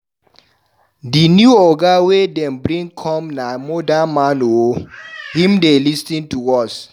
Di new oga wey dem bring come na modern man o, him dey lis ten to us.